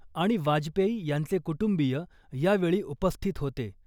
आणि वाजपेयी यांचे कुटुंबीय यावेळी उपस्थित होते .